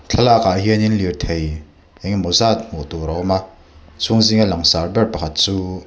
thlalakah hianin lirthei engemaw zat hmuh tur a awm a chung zinga langsar ber chu--